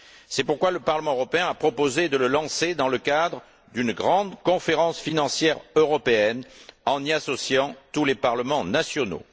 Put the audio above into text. C'est pourquoi le Parlement européen a proposé de le lancer dans le cadre d'une grande conférence financière européenne, en y associant tous les parlements nationaux.